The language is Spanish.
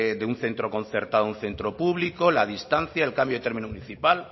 de un centro concertado a un centro público la distancia el cambio de término municipal